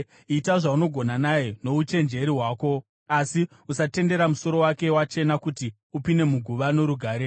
Ita zvaunogona naye nouchenjeri hwako, asi usatendera musoro wake wachena kuti upinde muguva norugare.